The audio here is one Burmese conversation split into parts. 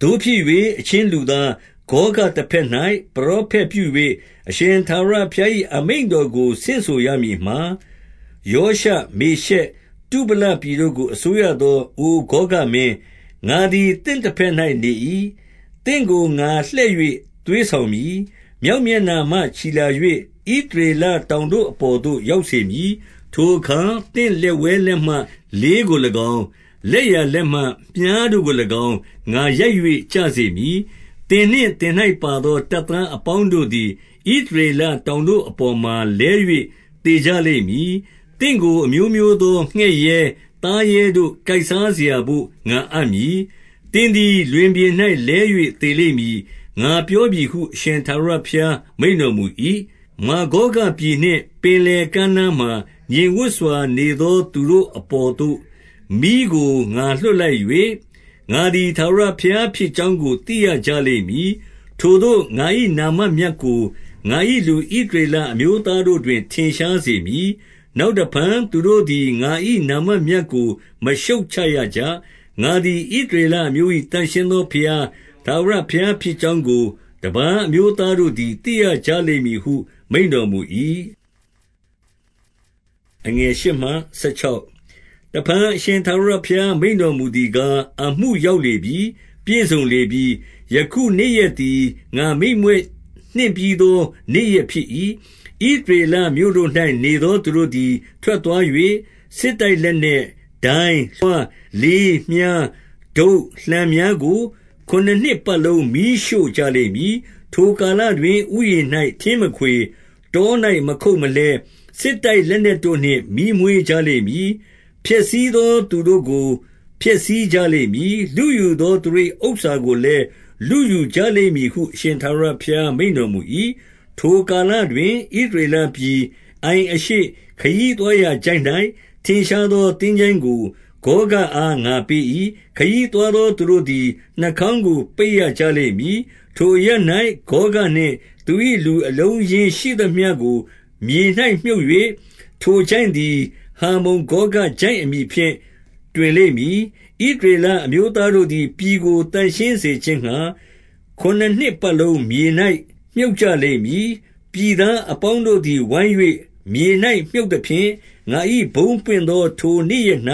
သို့ဖြစ်၍၊ အချင်းလူသား၊ ဂေါဂတဘက်၌ ပရောဖက်ပြု၍ အရှင်ထာဝရဘုရား၏ အမိန့်တော်ကို ဆင့်ဆိုရမည်မှာ၊ ရောရှ၊ မေရှက်၊ တုဗလပြည်တို့ကို အစိုးရသောအိုဂေါဂမင်း၊ ငါသည်သင့်တဘက်၌ နေ၏။ 2 သင့်ကို ငါလှည့်၍ သွေးဆောင်မည်။ မြောက် မျက်နှာမှ ချီလာ၍ ဣသရေလတောင်တို့အပေါ်သို့ ရောက်စေမည်။ 3 ထိုအခါ သင့်လက်ဝဲလက်မှ လေးကို၎င်း။ လက်ျာလက်မှ မြှားတို့ကို၎င်း၊ ငါရိုက်၍ကျစေမည်။ 4 သင်နှင့်သင်၌ပါသော တပ်သား အပေါင်းတို့ သည် ဣသရေလတောင်တို့အပေါ်မှာ လဲ၍သေကြလိမ့် မည်။ သင့်ကို အမျိုးမျိုးသော ငှက်ရဲ၊ သားရဲတို့ကိုက်စား စရာဘို့ ငါအပ်မည်။ 5 သင်သည် လွင်ပြင်၌ လဲ၍သေလိမ့်မည်။ ငါပြောပြီဟု အရှင်ထာဝရဘုရားမိန့်တော်မူ၏။ 6 မာဂေါဂပြည်နှင့် ပင်လယ်ကမ်းနားမှာ ငြိမ်ဝပ် စွာနေသော သူတို့အပေါ်သို့ မီးကိုငါလွှတ်လိုက်၍၊ ငါသည်ထာဝရဘုရားဖြစ်ကြောင်းကို သိရကြလိမ့်မည်။ 7 ထိုသို့ငါ၏ နာမမြတ်ကိုငါ၏ လူဣသရေလ အမျိုးသားတို့တွင် ထင်ရှားစေမည်။ နောက်တဖန်သူတို့ သည် ငါ၏နာမမြတ်ကိုမရှုတ်ချရကြ။ ငါသည်ဣသရေလ အမျိုး၏ သန့်ရှင်းသောဘုရား၊ ထာဝရဘုရားဖြစ်ကြောင်း ကို တပါးအမျိုးသားတို့သိရကြလိမ့်မည်ဟု မိန့်တော်မူ၏။ 8 တဖန်အရှင်ထာဝရဘုရား မိန့်တော်မူသည် ကား၊ အမှုရောက်လေပြီ။ ပြည့်စုံလေပြီ။ ယခုနေ့ရက် သည် ငါမိန့်မြွက်နှင့်ပြီးသော နေ့ရက်ဖြစ်၏။ 9 ဣသရေလမြို့တို့၌ နေသောသူတို့သည် ထွက် သွား၍၊ စစ်တိုက်လက်နက်၊ ဒိုင်း၊ လွှား၊ လေး၊ မြှား၊ တုတ်၊ လှံများကို ခုနစ်နှစ်ပတ်လုံး မီးရှို့ကြလိမ့်မည်။ 10 ထိုကာတွင် ဥယျာဉ်တော်၌ထင်းမခွေ၊ တော၌ ထင်းမခုတ်မလှဲ၊ စစ်တိုက်လက်နက်တို့နှင့် မီးမွေးကြလိမ့် မည်။ ဖျက်ဆီးသောသူတို့ကို ဖျက်ဆီးကြလိမ့်မည်။ လုယူသောသူတို့၏ ဥစ္စာကိုလည်းလုယူကြလိမ့်မည်ဟု အရှင်ထာဝရဘုရား မိန့်တော်မူ၏။ 11 ထိုကာလတွင် ဣသရေလပြည်၊ အိုင်အရှေ့၊ ခရီးသွားရာချိုင့်၌ ထင်ရှားသော သင်္ချိုင်းကိုဂေါဂအား ငါပေးမည်။ ခရီသွားသော သူတို့သည် နှာခေါင်းကို ပိတ်ရ ကြလိမ့်မည်။ ထိုအရပ်၌ ဂေါဂ နှင့်သူ၏လူ အလုံးအရင်းရှိသမျှကိုမြေ၌ မြှုပ်၍၊ ထိုချိုင့်သည် ဟာမုန်ဂေါဂ ချိုင့်အမည်ဖြင့် တွင်လိမ့်မည်။ 12 ဣသရေလ အမျိုးသားတို့သည် ပြည်ကို သန့်ရှင်းစေခြင်းငှါ ခုနစ်နှစ်ပတ်လုံး မြေ၌မြှုပ်ကြ လိမ့်မည်။ 13 ပြည်သားအပေါင်းတို့သည် ဝိုင်း၍မြေ၌မြှုပ်သဖြင့်၊ ငါ၏ဘုန်းပွင့်သော ထိုနေ့ရက်၌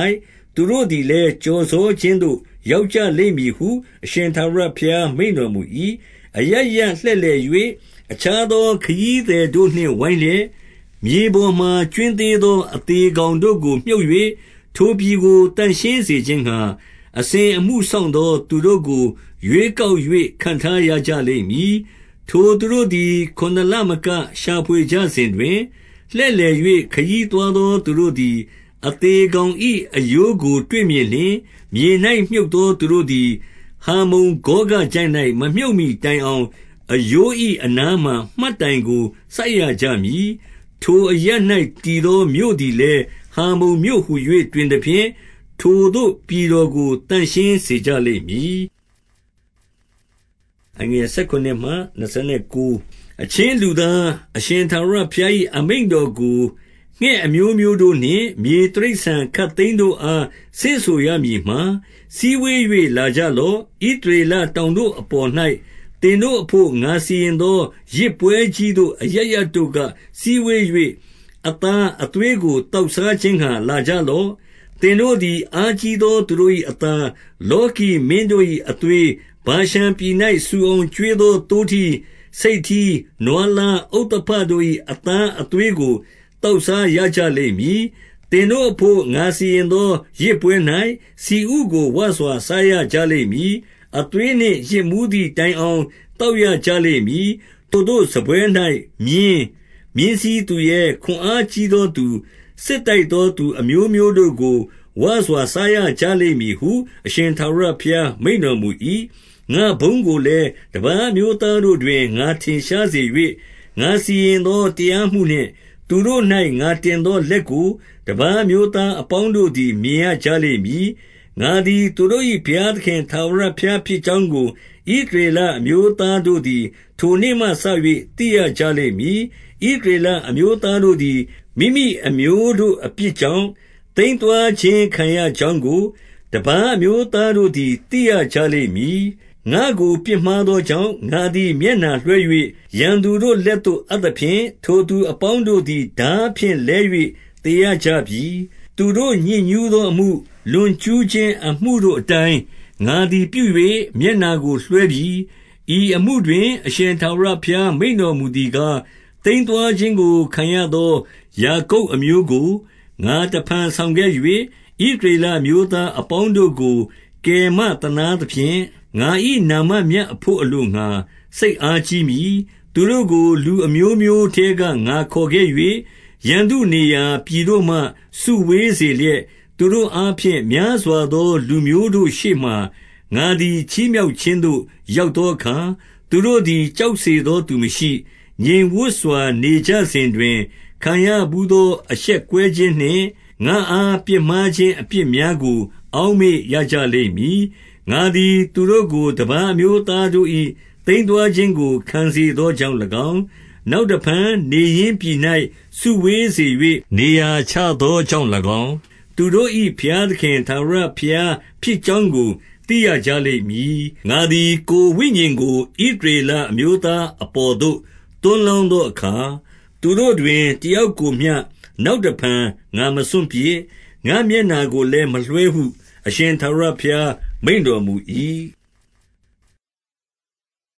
သူတို့သည်လည်း ကျော်စောခြင်းသို့ ရောက်ကြလိမ့်မည် ဟုအရှင်ထာဝရ ဘုရား မိန့်တော်မူ၏။ 14 အရပ်ရပ်လှည့်လည်၍ အခြားသောခရီးသည် တို့နှင့် ဝိုင်းလျက်၊ မြေပေါ်၌ကြွင်းသေးသော အသေ ကောင်တို့ကို မြှုပ်၍၊ ထိုပြည်ကို သန့်ရှင်းစေခြင်းငှါ အစဉ်အမှုစောင့်သော သူတို့ကိုရွေးကောက်၍ ခန့်ထား ရကြလိမ့်မည်။ ထိုသူတို့သည် ခုနစ်လမက ရှာဖွေ ကြစဉ်တွင်၊ 15 လှည့်လည်၍ ခရီးသွားသောသူတို့သည် အသေ ကောင်၏ အရိုးကိုတွေ့မြင်လျှင်၊ မြေ၌မြှုပ်သော သူတို့သည် ဟာမုန်ဂေါဂချိုင့်၌ မမြှုပ်မှီတိုင်အောင်၊ အရိုး၏အနားမှာမှတ်တိုင်ကို စိုက်ရကြမည်။ 16 ထိုအရပ်၌ တည်သောမြို့သည်လည်း ဟာမုန် မြို့ဟူ၍တွင်သဖြင့်၊ ထိုသို့ပြည်တော်ကို သန့်ရှင်းစေကြ လိမ့်မည်။ 17 အချင်းလူသား၊ အရှင်ထာဝရဘုရား၏ အမိန့် တော်ကို ငှက်အမျိုးမျိုးတို့နှင့် မြေတိရစ္ဆာန်ခပ်သိမ်တို့အား၊ ဆင့်ဆိုရမည်မှာ၊ စည်ဝေး၍လာကြလော့။ ဣသရေလ တောင်တို့အပေါ်၌ သင်တို့အဘို့ ငါစီရင်သော ယဇ်ပွဲကြီး သို့ အရပ်ရပ်တို့က စည်းဝေး၍၊ အသားအသွေးကို သောက်စားခြင်းငှါ လာကြလော့။ 18 သင်တို့သည် အားကြီးသောသူတို့၏ အသား၊ လောကီမင်းတို့၏အသွေး၊ ဗာရှန်ပြည်၌ ဆူအောင်ကျွေး သော သိုးထီး၊ ဆိတ်ထီး၊ နွားလားဥဿဘတို့၏ အသား အသွေးကို သောက်စားရကြလိမ့်မည်။ 19 သင်တို့အဘို့ ငါစီရင်သော ယဇ်ပွဲ၌ ဆီဥကိုဝစွာ စားရကြလိမ့်မည်။ အသွေးနှင့်ယစ်မူးသည်တိုင်အောင် သောက်ရကြလိမ့်မည်။ 20 ထိုသို့စားပွဲ၌မြင်း၊ မြင်းစီးသူရဲ၊ ခွန်အားကြီး သောသူ၊ စစ်တိုက်သောသူ အမျိုးမျိုးတို့ကို ဝစွာစားရကြ လိမ့်မည်ဟု အရှင်ထာဝရဘုရား မိန့်တော်မူ၏။ 21 ငါ့ဘုန်းကိုလည်း တပါးအမျိုးသားတို့တွင် ငါထင်ရှားစေ၍၊ ငါစီဂရင်သောတရားမှုနှင့်၊ သူတို့၌ ငါတင်သောလက်ကို တပါးအမျိုးသားအပေါင်းတို့သည် မြင်ရကြလိမ့်မည်။ 22 ငါသည်သူတို့၏ ဘုရားသခင် ထာဝရဘုရား ဖြစ်ကြောင်းကို ဣသရေလအမျိုးသားတို့သည် ထိုနေ့မှ စ၍ သိရကြလိမ့်မည်။ 23 ဣသရေလအမျိုးသားတို့သည် မိမိအမျိုးတို့ အပြစ်ကြောင့် သိမ်းသွားခြင်းခံရကြောင်းကို တပါး အမျိုးသားတို့သည် သိရကြလိမ့်မည်။ ငါ့ကိုပြစ်မှားသော ကြောင့်၊ ငါသည် မျက်နှာလွှဲ၍ ရန်သူတို့လက်သို့ အပ် သဖြင့်၊ ထိုသူအပေါင်းတို့သည် ထားဖြင့် လဲ၍ သေရ ကြပြီ။ 24 သူတို့ညစ်ညူးသောအမှု၊ လွန်ကျူးခြင်းအမှုတို့ အတိုင်း ငါသည် ပြု၍ မျက်နှာကိုလွှဲပြီ။ 25 ဤအမှုတွင် အရှင်ထာဝရဘုရား မိန့်တော်မူ သည်ကား၊ သိမ်းသွားခြင်းကို ခံရသောယာကုပ် အမျိုးကို ငါတဖန်ဆောင်ခဲ့၍၊ ဣသရေလအမျိုးသားအပေါင်းတို့ကို ကယ်မသနားသဖြင့်၊ ငါ၏နာမမြတ်အဘို့ အလိုငှါ စိတ်အားကြီးမည်။ 26 သူတို့ကို လူအမျိုးမျိုးထဲက ငါခေါ်ခဲ့၍၊ 27 ရန်သူနေရာပြည်တို့မှ စုဝေးစေလျက်၊ သူတို့ အားဖြင့်များစွားသော လူမျိုးတို့ရှေ့မှာ ငါသည်ချီးမြှောက် ခြင်းသို့ရောက်သောအခါ၊ သူတို့သည် ကြောက်စေသော သူမရှိ၊ ငြိမ်ဝပ်စွာနေကြစဉ်တွင် ခံရဘူးသောအရှက်ကွဲ ခြင်းနှင့်၊ ငါအားပြစ်မှားခြင်းအပြစ်များကို အောက်မေ့ကြ ရလိမ့်မည်။ 28 ငါသည်သူတို့ကို တပါးအမျိုးသားတို့၏ သိမ်း သွားခြင်းကို ခံစေသောကြောင့်၎င်း၊ နောက်တဖန် နေရင်းပြည်၌ စုဝေးစေ၍ နေရာချသောကြောင့်၎င်း၊ သူတို့၏ဘုရားသခင်ထာဝရဘုရားဖြစ်ကြောင်းကို သိရကြ လိမ့်မည်။ 29 ငါသည် ကိုယ်ဝိညာဉ်ကို ဣသရေလအမျိုးသား အပေါ်သို့ သွန်းလောင်းသောအခါ၊ သူတို့တွင် တယောက် ကိုမျှ နောက်တဖန်ငါမစွန့်ပစ်၊ ငါ့မျက်နှာကိုလည်းမလွှဲဟု အရှင်ထာဝရဘုရား မိန့်တော်မူ၏။